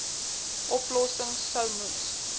oplossings sou moes